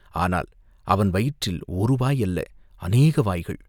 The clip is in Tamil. ஆனால் அவன் வயிற்றில் ஒரு வாய் அல்ல, அநேக வாய்கள்.